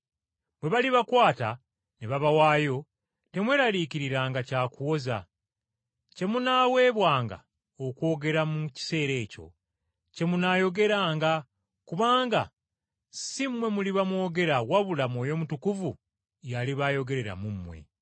Bwe balibakwata ne babawaayo, temweraliikiriranga kya kuwoza. Kye munaaweebwanga okwogera mu kiseera ekyo kye munaayogeranga kubanga si mmwe muliba mwogera wabula Mwoyo Mutukuvu y’aliba ayogerera mu mmwe.”